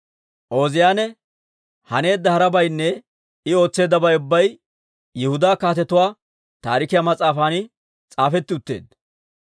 Ooziyaane haneedda harabaynne I ootseeddabay ubbay Yihudaa Kaatetuwaa Taarikiyaa mas'aafan s'aafetti utteedda.